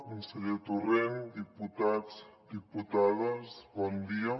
conseller torrent diputats diputades bon dia